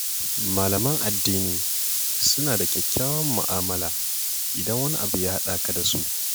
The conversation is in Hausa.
Malaman addini suna da kyakkyawar mu'amala, idan wani abu ya haɗa ka da su.